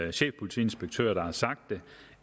en chefpolitiinspektør der har sagt